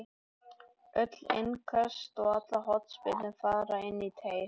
Öll innköst og allar hornspyrnur fara inn í teig.